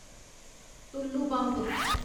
Tullu pump